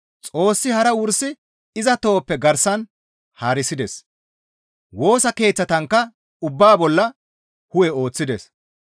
Xoossi hara wursi iza tohoppe garsan haarisides; Woosa keeththankka ubbaa bolla hu7e ooththides.